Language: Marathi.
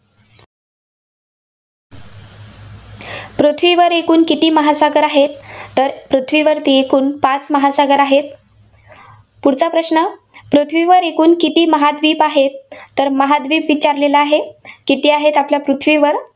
पृथ्वीवर एकूण किती महासागर आहेत? तर पृथ्वीवरती एकूण पाच महासागर आहेत. पुढचा प्रश्न, पृथ्वीवर एकूण किती महाद्विप आहेत? तर महाद्विप विचारलेलं आहे. किती आहेत आपल्या पृथ्वीवर?